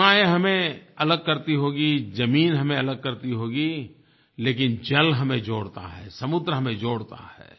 सीमायें हमें अलग करती होंगी ज़मीन हमें अलग करती होगी लेकिन जल हमें जोड़ता है समुद्र हमें जोड़ता है